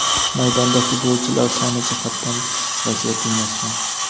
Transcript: maydonda futbolchilar soni jihatdan vaziyat tenglashgan.